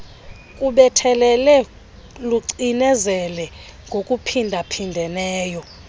lubethelele lucinezele ngokuphindaphindeneyo